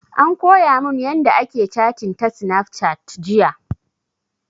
An koya mun yanda ake catin ta snafcat jiya